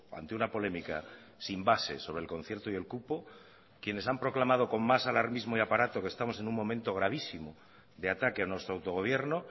ante una polémica sin bases sobre el concierto y el cupo quienes han proclamado con más alarmismo y aparato que estamos en un momento gravísimo de ataque a nuestro autogobierno